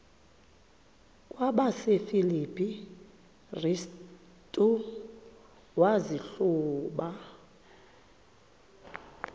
kwabasefilipi restu wazihluba